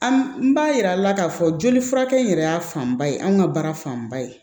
An b'a yir'a la k'a fɔ joli furakɛ in yɛrɛ y'a fanba ye anw ka baara fanba ye